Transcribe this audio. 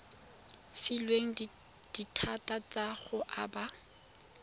filweng dithata tsa go aba